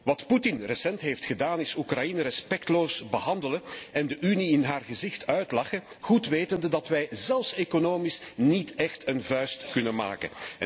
Wat Poetin recentelijk heeft gedaan is Oekraïne respectloos behandelen en de Unie in haar gezicht uitlachen, goed wetende dat wij zelfs economisch niet echt een vuist kunnen maken.